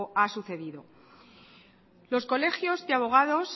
ha sucedido los colegios de abogados